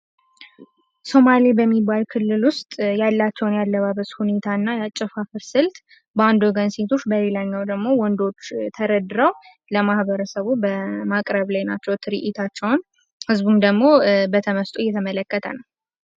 ሶማሌ በሚባል ክልል ውስጥ ያላቸውን የአለባበስ ሁኔታ እና የአጨፋፈር ስልት በአንድ ወገን ሴቶች በሌላኛው ደግሞ ሴቶች ተደርድረው ለማህበረሰቡ በማቅረብ ላይ ናቸው ትርኢታቸውን። ህዝቡም ደሞ በተመስጥኦ እየተመለከተ ነው።